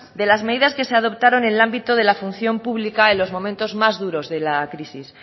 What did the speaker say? de las medidas que se adoptaron en el ámbito de la función pública en los momento más duros de la crisis